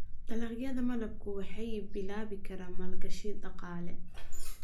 Dalagyada malabku waxay bilaabi karaan maalgashi dhaqaale.